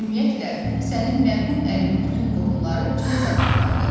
Ümumiyyətlə, sənin mərhum ərinin bütün qohumları cılız adamlardır.